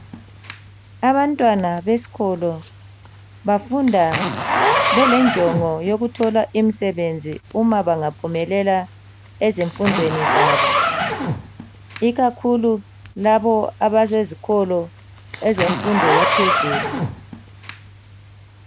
Abantwana besikolo bafunda belenjongo yokuthola imisebenzi uma bangaphumelela ezifundweni zabo ikakhulu labo abasezikolo ezemfundo yaphezulu.